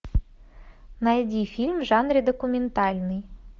найди фильм в жанре документальный